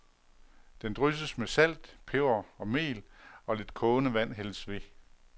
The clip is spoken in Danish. Den drysses med salt, peber og mel og lidt kogende vand hældes ved.